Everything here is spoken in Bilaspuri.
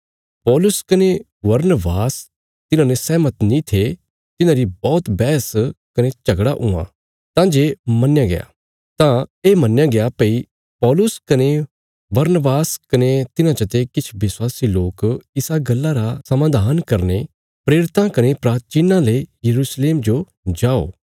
पौलुस कने बरनबास तिन्हांने सैहमत नीं थे तिन्हांरी बौहत बैहस कने झगड़ा हुआ तां ये मन्नया गया भई पौलुस कने बरनबास कने तिन्हां चते किछ विश्वासी लोक इसा गल्ला रा समाधान करने प्रेरितां कने प्राचीनां ले यरूशलेम जो जाओ